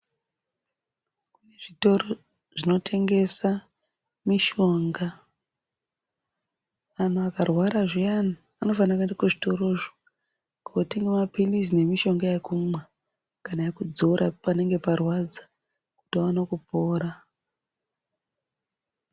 Zvitoro zvino tengesa mishonga anhu akarwara zviyani anofanire kuenda ku zvitorozvo kotenga mapilizi ne mishonga yekumwa kana yeku dzora panenge parwadza kuti vaone kupora.